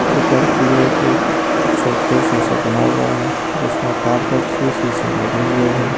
ऊपर की ओर एक शोकेस जैसा बना हुआ है जिसमें पारदर्शी शीशे लगे हुए हैं।